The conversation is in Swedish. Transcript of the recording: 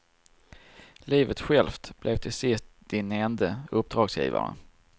Livet självt blev till sist din ende uppdragsgivare.